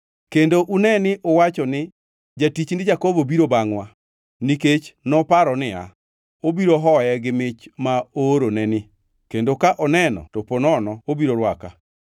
Kendo une ni uwacho ni, ‘Jatichni Jakobo biro bangʼwa.’ ” Nikech noparo niya, “Obiro hoye gi mich ma ooroneni kendo ka oneno to ponono obiro rwaka.”